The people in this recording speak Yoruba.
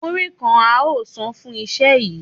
Múrí kan a óò san fún iṣẹ́ yìí